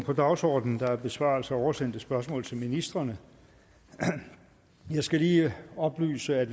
på dagsordenen der er besvarelse af oversendte spørgsmål til ministrene jeg skal lige oplyse at